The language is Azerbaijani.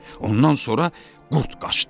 Ondan sonra qurd qaçdı.